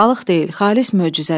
Balıq deyil, xalis möcüzədir.